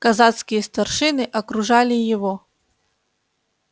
казацкие старшины окружали его